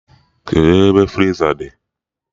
Kedụ ebe friza dị?